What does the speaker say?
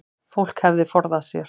Fólk hefði forðað sér